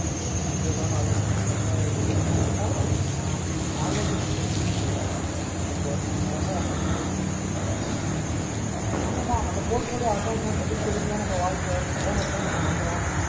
அதுனால அது கொஞ்சம் tough ஆ இருந்தது but இப்ப பரவாவ இல்ல ஆ online tutions எதுத்துட்டு இருக்கேன் அப்பப்போ வேற யாராது இருந்தா refer பண்ணு ஆமா ஆமா portfolio accounts தான் debit credit தான் நம்ம வாழ்கை journal தான் நம்ம மந்திரம்